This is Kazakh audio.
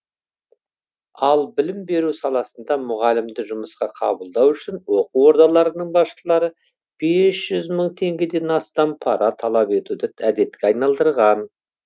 ал білім беру саласында мұғалімді жұмысқа қабылдау үшін оқу ордаларының басшылары бес жүз мың теңгеден астам пара талап етуді әдетке айналдырған